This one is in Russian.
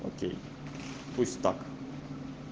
хорошо пусть так